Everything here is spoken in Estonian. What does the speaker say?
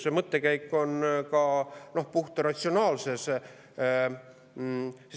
See mõttekäik on ka puhta ratsionaalne.